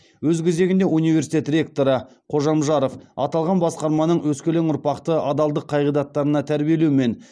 өз кезегінде университет ректоры қожамжаров аталған басқарманың өскелең ұрпақты адалдық қағидаттарына тәрбиелеу мен